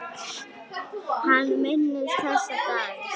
Hann minnist þessa dags.